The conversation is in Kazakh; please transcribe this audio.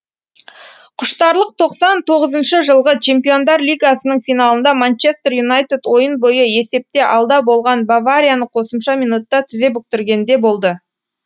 құштарлық тоқсан тоғызыншы жылғы чемпиондар лигасының финалында манчестер юнайтед ойын бойы есепте алда болған баварияны қосымша минутта тізе бүктіргенде болды